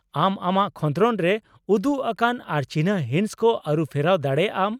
ᱟᱢ ᱟᱢᱟᱜ ᱠᱷᱚᱸᱫᱽᱨᱚᱱ ᱨᱮ ᱩᱫᱩᱜ ᱟᱠᱟᱱ ᱟᱨ ᱪᱤᱱᱦᱟᱹ ᱦᱤᱸᱥ ᱠᱚ ᱟᱹᱨᱩᱯᱷᱮᱨᱟᱣ ᱫᱟᱲᱮᱭᱟᱜ ᱟᱢ ᱾